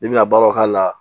I bɛna baaraw k'a la